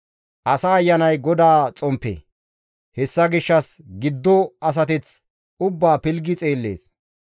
Asa ayanay GODAA xomppe; hessa gishshas giddo asateth ubbaa izi pilggi xeellees.